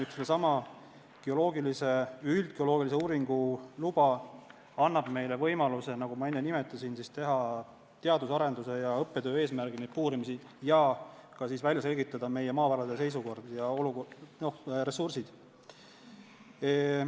Seesama üldgeoloogilise uurimistöö luba annab meile võimaluse, nagu ma enne nimetasin, teha teaduse ning arendus- ja õppetöö eesmärgil neid puurimisi ning selgitada meie maavarade olukorda ja nende ressursse.